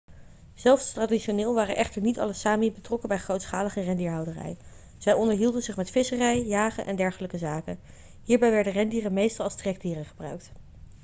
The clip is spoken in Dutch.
zelfs traditioneel waren echter niet alle sámi betrokken bij grootschalige rendierhouderij. zij onderhielden zich met visserij jagen en dergelijke zaken. hierbij werden rendieren meestal als trekdieren gebruikt